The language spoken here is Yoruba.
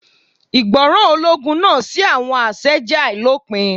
Ìgbọràn ológun náà sí àwọn àṣẹ jẹ́ àìlópin.